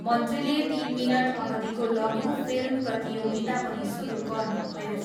मन्त्रीले तिन मिनट अवधिको लघु फिल्म प्रतियोगिता पनि सुरु गर्नुभयो।